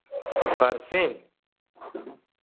ഫർസി